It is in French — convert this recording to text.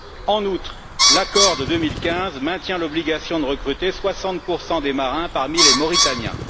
En outre, l'accord de 2015 maintient l'obligation de recruter 60 des marins parmi les Mauritaniens.